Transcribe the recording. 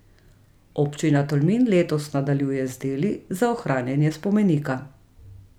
Občina Tolmin letos nadaljuje z deli za ohranjanje spomenika.